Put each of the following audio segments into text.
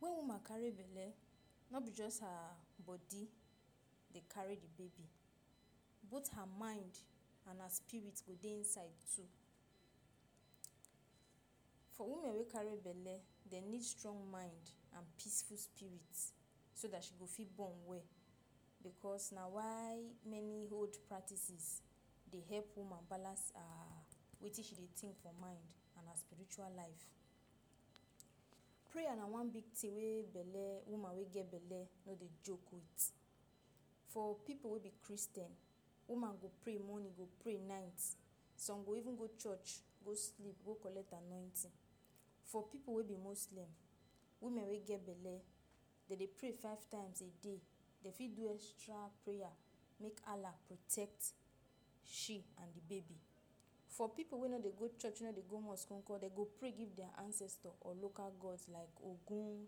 When woman carry belle, no be jus her bodi de carry di baby, both her mind and her spirit go dey inside too. For woman wey carry belle, dey need strong mind and peaceful spirit, so dat she go fit born well, becos na why many old practices dey hep woman balance um wetin she dey think for mind and her spiritual life. Prayer na one big tin wey belle woman wey get belle no de joke with, for pipu wey be Christian, woman go pray morning go pray night some go even go church go sleep go collect anointing. For pipu wey be Muslims woman wey get belle dey dey pray five times a day, dey fit do extra prayer, make Allah protect she and baby. For pipu wey no dey go church no dey go mosque nkor, de go pray give their ancestor or local god is like Ogun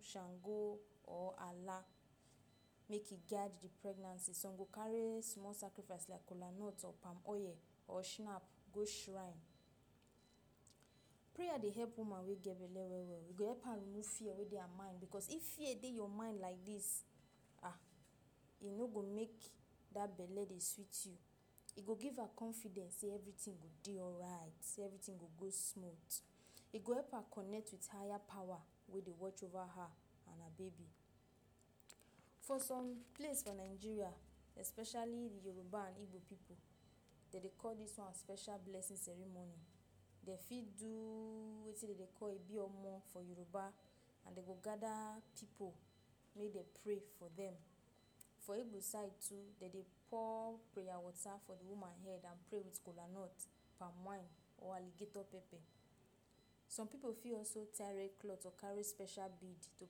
Shango or Allah. Make e guard di pregnancy. Some go carry small sacrifice as like kolanut or palm oil or shenap go shrine. Prayer dey hep woman wey get belle well-well, e go hep am no fear wey dey her mind becos if fear dey your mind like dis ah, e no go make dat belle dey sweet you, e go give am confidence sey evertin go de alright, sey evertin go smooth, e go help her connect wit higher power wey dey watch over her and her baby. So for some place for Nigeria especially di Yoruba and Igbo pipu, dey de call dis one special blessing ceremony. Dey fit do wetin de dey call [Ibiomo] for Yoruba and de go gather pipu may de pray for dem. For Igbo side too dey de pour prayer water for de woman head and pray wit kolanut, palm wine or alligator pepper. Some pipu fit also tire red cloth or carry special bead to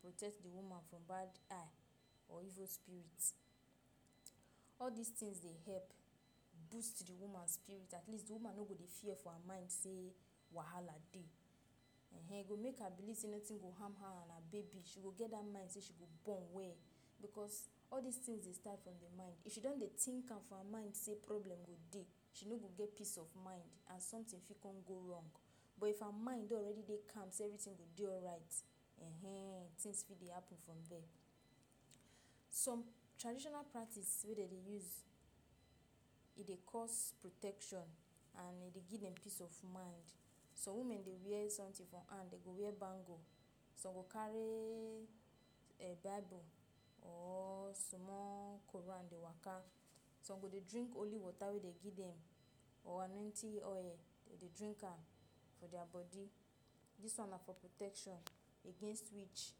protect the woman from bad eye or evil spirit. All dis tins dey hep, burst to di woman spirit, at least de woman no de fear for her mind sey wahala de,[um]ehn go make her blessing notin go harm her and her baby. she go get dat mind sey she go born well, becos all dis tins started from de mind if she don't tink for am mind sey problem go dey she no get peace of mind and sometin fit go wrong. But if her mind don already dey calm sey evertin go dey alright.[um]ehn tins wey happen from their. Some traditional practice wey dey de use, e dey cause protection and e dey give a peace of mind. Some women dey ware sometin for hand dey go wear bangle, some go carry a Bible or small Quran dey waka, some go dey drink holy water wey de give dem or annonitng oil, de dey drink am for diya bodi. Dis one na protection, against witch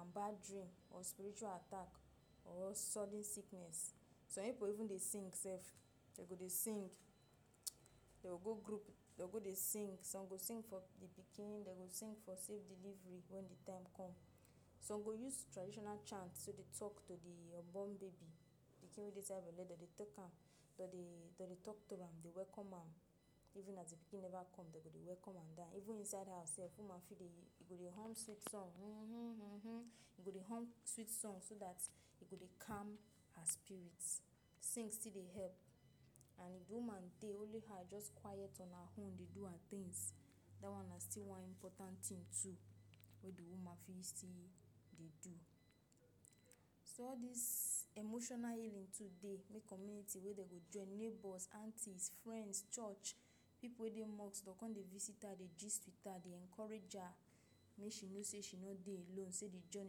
and bad dream or spiritual attack or sudden sickness. Some pipu even dey sing self, dey go de sing dem go go group dey go de sing dem go sing for di pikin, de go sing for safe delivery when de time come, some go use traditional chant so de tok to de unborn baby de tin inside belle dey de tok am dey de tok to am de welcome am even as di pikin never come dey go de welcome am die even inside her safe woman feel dey hum sweet song huuhum huuhum. E go de hum sweet song so dat e go dey calm her spirit. Sing still de help and woman dey only her just quite on her own dey do her tins dat one na still one important tin too wey de woman fit de do. So all dis emotional healing today mek community wey de go join neighbors, aunties, friends church, pipu wey dey mosque dey come to visit her dey gist wit her, encourage her, wey she no say she no de alone sey de join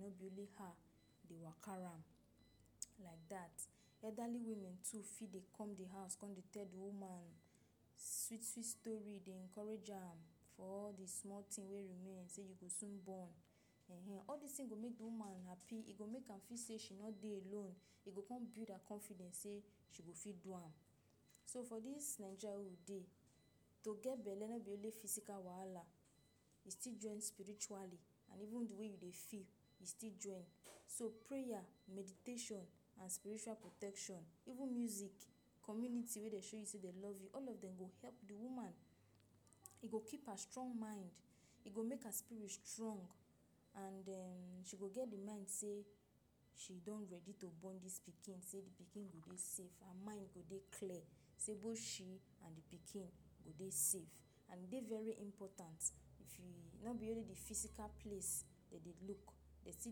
no be only her de waka round like dat. Elderly woman too fit dey come di hous come dey tell di woman sweet sweet story de encourage am for all de small tin wey remain sey you go soon born.[um]ehn all dis tins go make woman happy e go make her feel say she no dey alone e go come build her confidence sey she go fit do am, so for dis Naigeria wey we dey to get belle no be only physical wahala e still join spiritually, and even de way you dey feel e still join. So prayer, meditation and spiritual protection even music, community wey de show you sey de love you all of dem help di woman e go keep her strong mind. E go make her spirit strong and den she go get di mind say, she don ready to born dis pikin sey di pikin ready safe her mind go de clear say both she and d pikin go dey safe and dey very important. If ee no be only de physical place dey di look, dey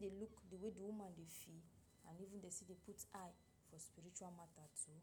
de look dey way de woman dey feel put eye for spiritual matta too.